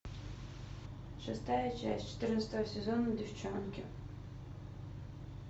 шестая часть четырнадцатого сезона деффчонки